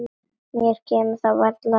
Mér kemur það varla við.